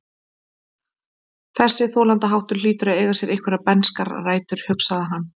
Þessi þolandaháttur hlýtur að eiga sér einhverjar bernskar rætur, hugsaði hann.